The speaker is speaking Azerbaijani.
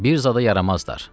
Bir zada yaramazdır.